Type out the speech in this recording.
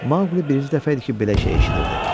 Maqli birinci dəfə idi ki, belə şey eşidirdi.